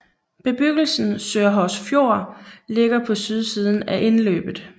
Bebyggelsen Sørhorsfjord ligger på sydsiden af indløbet